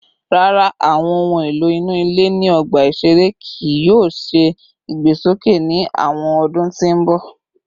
Rara, awọn ohun elo inu ile ni ọgba iṣere kii yoo ṣe igbesoke ni awọn ọdun ti n bọ